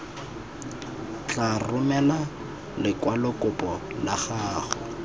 tla romela lekwalokopo la gago